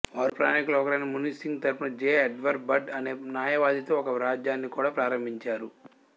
వారు ప్రయాణీకులలో ఒకరైన మున్షీ సింగ్ తరపున జె ఎడ్వర్డ్ బర్డ్ అనే న్యాయవాదితో ఒక వ్యాజ్యాన్ని కూడా ప్రారంభించారు